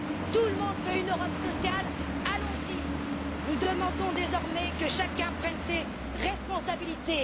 Tout le monde veut une Europe sociale, allons y! Nous demandons désormais que chacun prenne ses responsabilités.